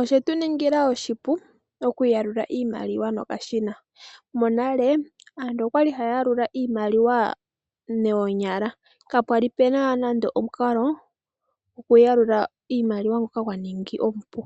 Oshetu ningila oshipu okuyakula iimaliwa nokashina. Monale aantu okwali haya yalula iimaliwa noonyala kapwali puna nando omukalo goku yalula iimaliwa ngoka gwa ningi omupu ,